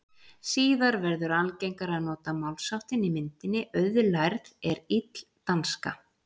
Síðar verður algengara að nota málsháttinn í myndinni auðlærð er ill danska.